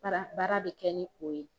Baara baara bɛ kɛ ni o ye.